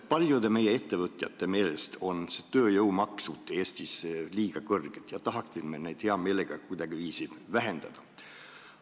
Paljude meie ettevõtjate meelest on tööjõumaksud Eestis liiga kõrged ja me tahaksime neid hea meelega vähendada.